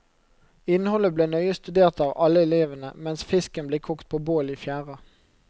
Innholdet ble nøye studert av alle elevene, mens fisken ble kokt på bål i fjæra.